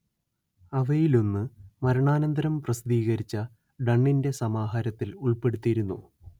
അവയിലൊന്ന് മരണാന്തരം പ്രസിദ്ധീകരിച്ച ഡണ്ണിന്റെ സമഹാരത്തിൽ ഉൾപ്പെടുത്തിയിരുന്നു